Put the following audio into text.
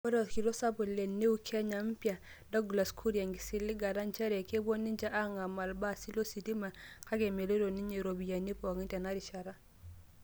Etaa olkitok sapuk le Neo Kenya Mpya Douglas Kuria enkisiligata njeree kepuu ninje aangamaa ilbaasi lositima, kake meloito ninye "iropiyiani pooki" tenarishata.